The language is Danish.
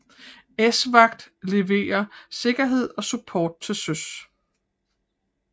ESVAGT leverer sikkerhed og support til søs